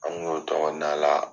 An n'o tɔgɔ na la